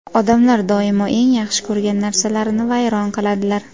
"Odamlar doimo eng yaxshi ko‘rgan narsalarini vayron qiladilar".